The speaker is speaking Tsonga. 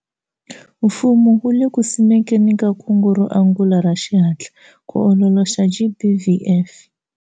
Fumo wu le ku simekeni ka kungu ro angula ra xihatla ku ololoxa GBVF.